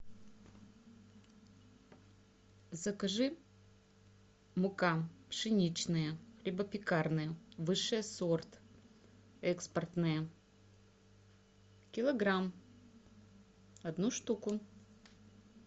закажи мука пшеничная хлебопекарная высший сорт экспортная килограмм одну штуку